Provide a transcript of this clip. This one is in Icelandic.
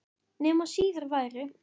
Nema síður væri.